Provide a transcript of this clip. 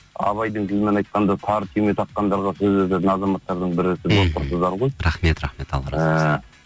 абайдың тілімен айтқанда тары түйме таққандарға сөзі өтетін азаматтардың бірі сіз болып тұрсыздар ғой рахмет рахмет